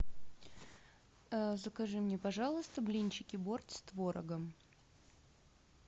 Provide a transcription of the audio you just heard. закажи мне пожалуйста блинчики борт с творогом